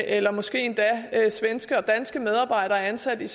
eller måske endda svenske medarbejdere ansat i